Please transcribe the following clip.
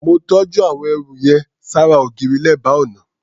Mó tọ́jú àwọn ẹrù yẹn ṣára ògiri, lẹ́bàá ọnà.